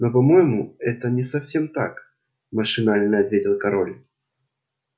но по-моему это не совсем так машинально ответил король